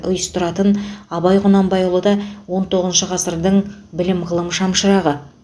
ұйыстыратын абай құнанбайұлы да он тоғызыншы ғасырдың білім ғылым шамшырағы